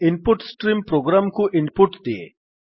in put stream program କୁ input ଦିଏ